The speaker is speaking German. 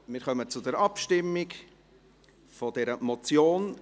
Wir kommen zur Abstimmung zu dieser Motion.